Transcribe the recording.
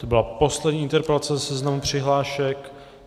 To byla poslední interpelace ze seznamu přihlášek.